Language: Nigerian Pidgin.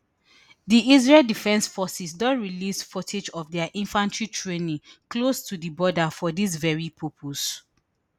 di israel defense forces don release footage of dia infantry training close to di border for dis veri purpose